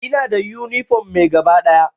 Ina da yunifom mai gaba ɗaya.